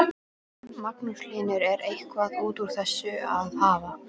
Magnús Hlynur: Er eitthvað út úr þessu að hafa?